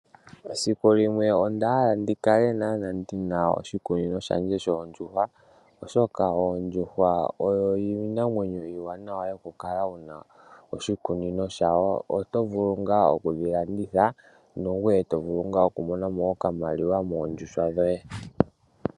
Esiku limwe onda hala ndikale ndina oshikunino shandje shoondjuhwa, oshoka oyo iinamwenyo iiwanawa yokukala wuna oshikunino shawo, oto vulu ngaa okudhi landitha , nangoye tovulu okumonamo okamaliwa moondjuhwa dhoye.